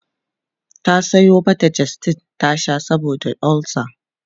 ta Sayo mata gestid ta Sha saboda ulcer